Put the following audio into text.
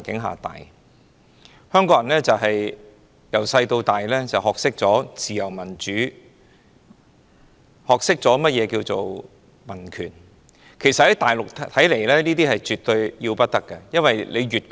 香港人自小就學懂自由民主、民權。在內地，凡此種種皆絕對要不得。